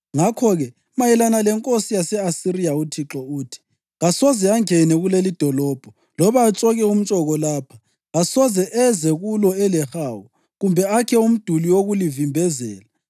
Ngakho-ke mayelana lenkosi yase-Asiriya uThixo uthi: ‘Kasoze angene kulelidolobho loba atshoke umtshoko lapha. Kasoze eze kulo elehawu kumbe akhe umduli wokulivimbezela.